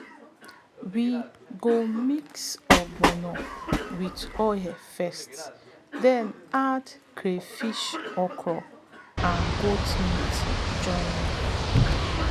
we go mix ogbono with oil first then add crayfish okra and goat meat join am.